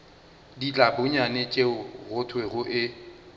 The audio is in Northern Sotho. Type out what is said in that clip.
ditlabonyane tšeo go thwego e